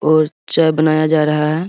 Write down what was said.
और चाय बनाया जा रहा है।